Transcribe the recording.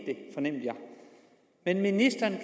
det men ministeren